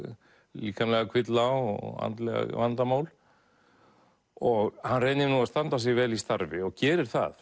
líkamlega kvilla og andleg vandamál og hann reynir nú að standa sig vel í starfi og gerir það